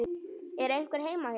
Er einhver heima hér?